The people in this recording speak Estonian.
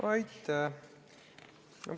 Aitäh!